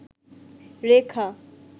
রেখা